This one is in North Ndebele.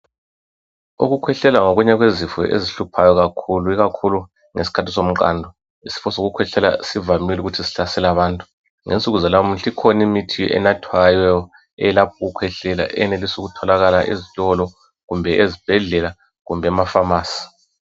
Ukukwehlala ngokunye kwezifo ezihluphayo kakhulu, ikhakhulu ngesikhathi somqando. Isifo sokukhwehlela sivamile ukuthi sihlasele abantu. Ngensuku zalamuhla ikhona imithi enathwayo eyelapha ukukwehlela eyenelisa ukutholakala ezitolo kumbe ezibhedlela kumbe emafamasi .